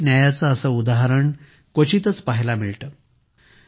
सामाजिक न्यायाचे असे उदाहरण क्वचितच पाहायला मिळते